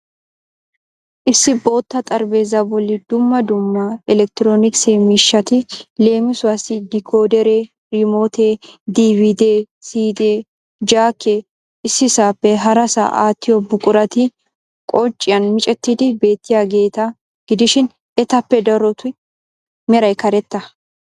Issi bootta xaraphpheezzaa bolli dumma dumma electronikise mishshati leemisuwassi dikoodere, riimootee, DVDee, CD, jakee, ississaappe harassa aattiyo buqquratti qocciyan miccettid beettiyageeta gidishin etappe darotu meray karetta.